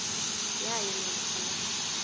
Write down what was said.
yayo namkha la